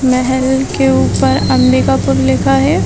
मेहल के ऊपर अम्बिकापुर लिखा है।